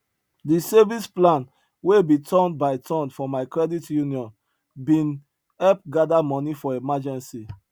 the savings plan wey be turn by turn for my credit union been help gather money for emergency